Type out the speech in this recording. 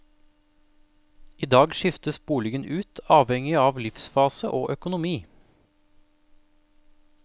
I dag skiftes boligen ut avhengig av livsfase og økonomi.